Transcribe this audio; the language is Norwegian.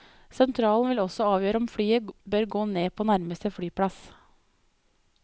Sentralen vil også avgjøre om flyet bør gå ned på nærmeste flyplass.